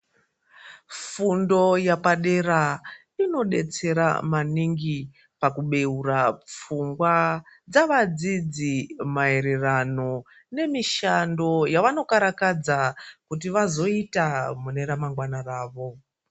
Fundo yepadera inodetsera maningi pakubeura pfungwa dzevadzidzi maererano nemishando yavanokarakadza kuti vazoita mune ramangwana ravo.